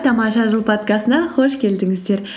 тамаша жыл подкастына қош келдіңіздер